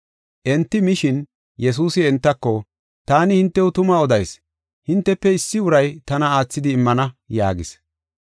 Enti mishin, Yesuusi entako, “Taani hintew tuma odayis; hintefe issi uray tana aathidi immana” yaagis.